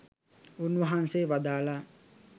උන්වහන්සේ වදාළා